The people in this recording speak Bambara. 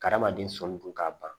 Kadamaden sɔmi dun ka ban